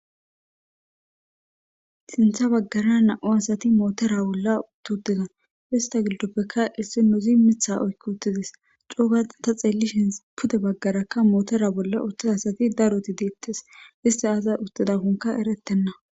sintha baggara na'o asati mootora bolla tuutidan ista gildoppekka issi nuzi mitha oykki uttidis coogaa ta xeellishin pute baggarakka mootora bolla utta asati daroti deettes isti asa uttidakonka erettenna